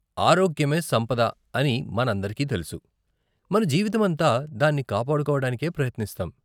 ఆరోగ్యమే సంపద అని మనందరికీ తెలుసు, మన జీవితమంతా దాన్ని కాపాడుకోవడానికే ప్రయత్నిస్తాం.